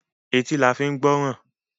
Etí la fi ń gbọ́ràn.